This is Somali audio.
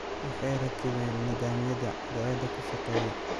Waxay rakibeen nidaamyada cadceedda kushaaqeya.